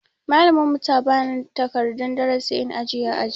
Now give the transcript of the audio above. Malamin mu ta bani takardan darasi in ajiye ã aji.